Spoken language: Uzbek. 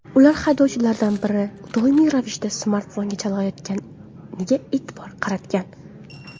Ular haydovchilardan biri doimiy ravishda smartfonga chalg‘iyotganiga e’tibor qaratgan.